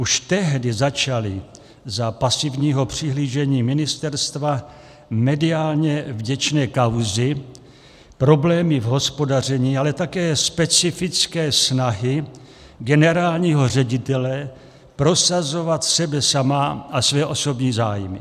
Už tehdy začaly za pasivního přihlížení ministerstva mediálně vděčné kauzy, problémy v hospodaření, ale také specifické snahy generálního ředitele prosazovat sebe sama a své osobní zájmy.